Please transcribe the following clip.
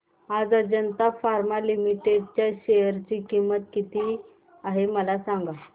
आज Ajanta pharma limited च्या share ची किंमत किती आहे मला सांगा